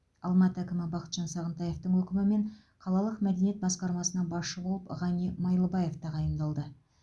алматы әкімі бақытжан сағынтаевтың өкімімен қалалық мәдениет басқармасына басшы болып ғани майлыбаев тағайындалды